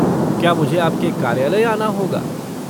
क्या मुझे आपके कार्यालय आना होगा?